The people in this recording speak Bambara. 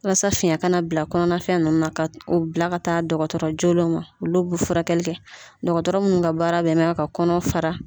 Walasa fiyɛn kana bila kɔnɔna fɛn ninnu na ka bila ka taa dɔgɔtɔrɔ joolenw ma olu bu furakɛli kɛ dɔgɔtɔrɔ munnu ka baara bɛn na ka kɔnɔ fara.